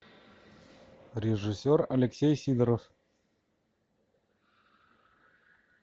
режиссер алексей сидоров